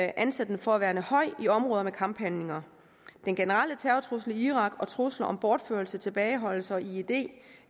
anser den for at være høj i områder med kamphandlinger den generelle terrortrussel i irak og trusler om bortførelse tilbageholdelse og ied